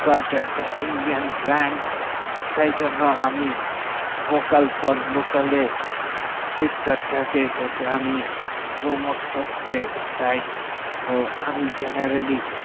flipkart তা indian brand সেজন্য আমি vocal for local এ flipkart তা কে আমি promote করতে চাই তো আমি generally